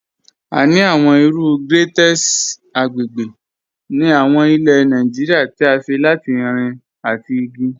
A ni awọn iru grẹ́tẹ̀sì agbègbè ni awọn ilẹ̀ Nàìjíríà tí à ṣé látì irin àtì igi.